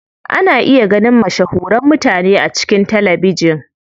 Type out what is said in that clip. Ana iya ganin mashahuran mutane a cikin talabijin.